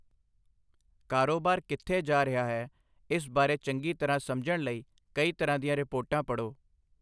ਕਾਰੋਬਾਰ ਕਿੱਥੇ ਜਾ ਰਿਹਾ ਹੈ, ਇਸ ਬਾਰੇ ਚੰਗੀ ਤਰ੍ਹਾਂ ਸਮਝਣ ਲਈ ਕਈ ਤਰ੍ਹਾਂ ਦੀਆਂ ਰਿਪੋਰਟਾਂ ਪੜ੍ਹੋ।